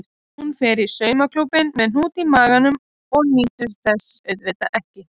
Hún fer í saumaklúbbinn með hnút í maganum og nýtur þess auðvitað ekki.